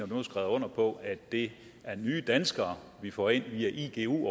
nu har skrevet under på at det er nye danskere vi får ind via igu